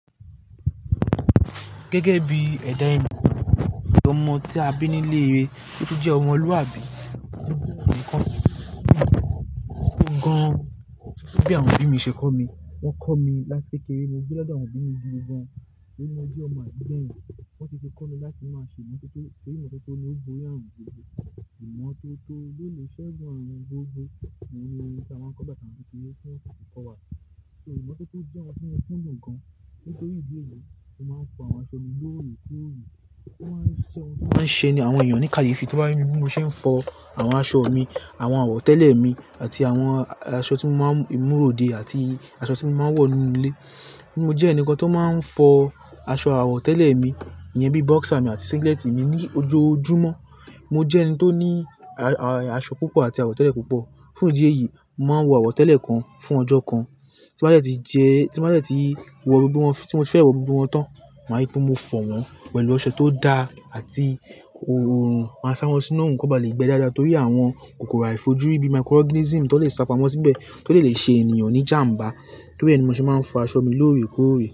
Gẹ́gẹ́ bí ẹ̀dá ẹ̀mí, bí ọmọ tí a bí nílé rere, bí ó jẹ́ ọmọlúàbí. Gán an, bí àwọn òbí mi ṣe kọ́ mi, wọ́n kọ́ mi láti kékeré. Mo gbe lodo àwọn òbí mi gidi gan-an. Torí mo je ọmọ àbí gbẹ̀yin. Wọ́n ti fi kọ́ mi láti máa ṣe ìmọ́tótó, pé ìmọ́tótó ni ó gboyé àrùn gbogbo. Ìmọ́tótó ló le ṣegun àrun gbogbo. Òun ni orin táa máa ń kọ n gbá t'awa n kékeré tí wọ́n ṣì fi kọ́wa. Ìmọ́tótó jẹ́ ohun tí mo kùndun gan. Nítorí ìdí èyí, mo máa ń fọ àwọn aṣọ mi lóorekoore. Ó máa ń ṣe ẹni àwọn èèyàn ní kàyéfi tan bá rí mi bí mo ṣe ń fọ àwọn aṣọ mi, àwọn àwọ̀tẹ́lẹ̀ mi àti àwọn aṣọ tí mo máa ń múróde àti aṣọ tí mo máa ń wọ̀ nínú ilé. Mo jẹ́ ẹnìkan tó máa ń fọ aṣọ àwọ̀tẹ́lẹ̀ mi, ìyẹn bí boxer mi àti singlet mi ní ojoojúmọ́. Mo jẹ́ ẹni tó ní aṣọ púpọ̀ àti àwọ̀tẹ́lẹ̀ púpọ̀. Fún ìdí èyí, mo màá n wọ àwọ̀tẹ́lẹ̀ kan fún ọjọ́ kan. Tí màá ṣe ti jẹ, tí màá ṣe ti wọ gbogbo wọn tí mo ti fẹ́ wọ gbogbo wọn tán, màá rí pé mo fọ̀ wọ́n pẹ̀lú ọṣẹ tó da àti òòrùn. Màá sá wọn sínú òòrùn kan ba lè gbẹ́ dáadáa torí àwọn kòkòrò àìfojúrí bí microorganism tó lè sapamo síbẹ̀, tó dè lè ṣe ènìyàn ní ìjàmbá torí ẹ ni mo ṣe máa ń fọ aṣọ mi lóorekoore.